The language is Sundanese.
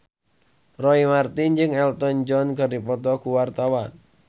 Roy Marten jeung Elton John keur dipoto ku wartawan